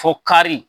Fo kari